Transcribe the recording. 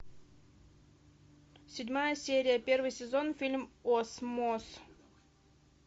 седьмая серия первый сезон фильм осмос